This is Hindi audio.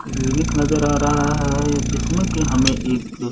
क्लिनिक नजर आ रहा है जिसमें की हमें एक --